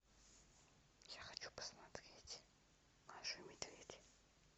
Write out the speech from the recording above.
я хочу посмотреть машу и медведь